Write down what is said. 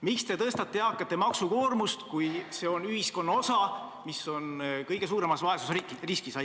Miks te tõstate eakate maksukoormust, kui see on ühiskonna osa, mis on kõige suuremas vaesusriskis?